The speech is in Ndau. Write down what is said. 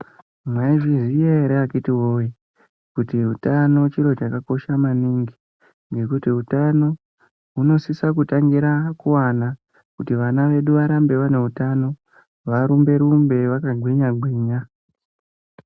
Mwaizviya ere akiti woye kuti utano chiro chakakosha maningi. Ngekuti utano unosisa kutangira kuana, kuti vana vedu varambe vane utano, varumbe-rumbe, vakagwinya-gwinya.